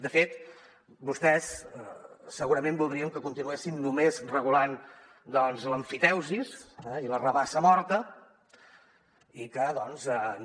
de fet vostès segurament voldrien que continuessin només regulant doncs l’emfiteusi i la rabassa morta i que doncs no